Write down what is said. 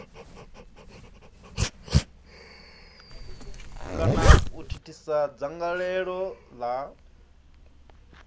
kana u thithisa dzangalelo la